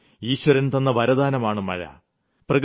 എന്നാൽ ഈശ്വരൻ തന്ന വരദാനമാണ് മഴ